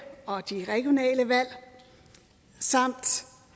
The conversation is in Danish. og regionale valg samt